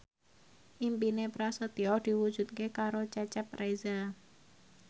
impine Prasetyo diwujudke karo Cecep Reza